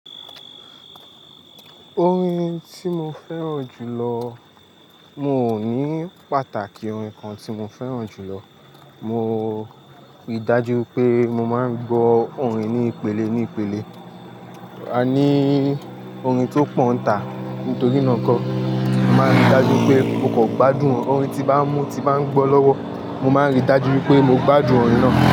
Orin tí mo fẹ́ràn jù lọ, mo ní pàtàkì orin kan tí mo fẹ́ràn jù lọ. Mo rí dájú ipé mo máa ń gbọ́ orin ní ìpele ní ìpele. A ní orin tó pọ̀ ntà nítorí náà kọ́, a máa ń rí dájú pé mo kan gbádùn orin tí bá mú ti bá ń gbọ́ lọ́wọ́, mo máa ń rí dájú wipé mo gbádùn orin náà.